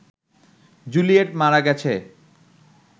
Juliet মারা গেছে